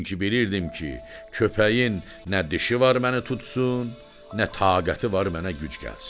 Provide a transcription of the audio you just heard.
Çünki bilirdim ki, köpəyin nə dişi var məni tutsun, nə taqəti var mənə güc gəlsin.